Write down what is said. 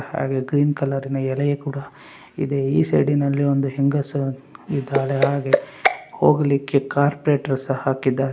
ಹಾಗೇ green colour ಎಲೆ ಕೂಡ ಇದೆ ಈ ಸೈಡಿನಲ್ಲಿ ಒಂದು ಹೆಂಗಸು ಇದ್ದಾಳೆ ಹಾಗೇ ಹೋಗಲಿಕ್ಕೆ ಕಾರ್ಪೇಟ್‌ ಸಹಾ ಹಾಕಿದ್ದಾರೆ.